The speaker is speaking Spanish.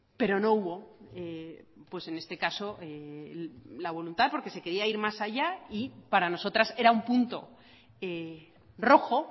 pero no hubo en este caso la voluntad porque se quería ir más allá y para nosotras era un punto rojo